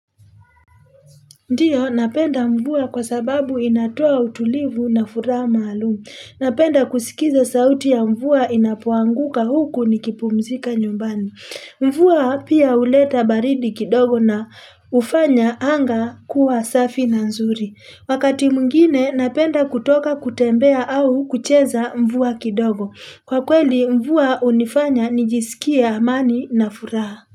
Ndio napenda mvua kwa sababu inatoa utulivu na furaha maalumu. Napenda kusikiza sauti ya mvua inapoanguka huku nikipumzika nyumbani. Mvua pia huleta baridi kidogo na hufanya anga kuwa safi na nzuri. Wakati mwingine napenda kutoka kutembea au kucheza mvua kidogo. Kwa kweli mvua hunifanya nijisikie amani na furaha.